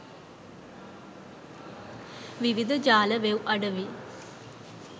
විවිද ජාල වෙව් අඩවි